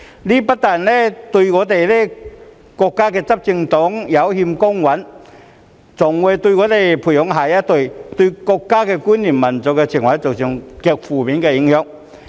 這不但對國家執政黨有欠公允，更會對我們培養下一代的國家觀念和民族情懷造成極負面的影響。